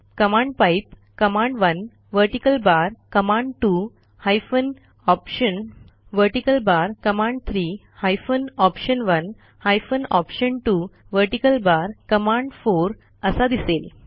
command pipe command one vertical bar command two hyphen option vertical bar command three hyphen option one hyphen option two vertical bar command4असा दिसेल